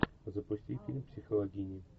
запусти фильм психологини